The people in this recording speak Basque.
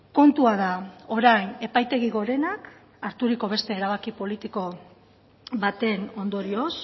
kontua da orain epaitegi gorenak harturiko beste erabaki politiko baten ondorioz